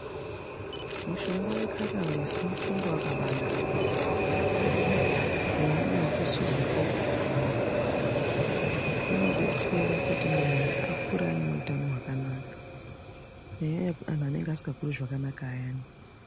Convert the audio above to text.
Mushonga wekatalisi mushonga wakabanaka maningi kunyanya nyanya vekusiziko Inodetsera kuti vanhu vakure vaneutamo hwakanaka nyanyei vasikakuri zvakanaka vayani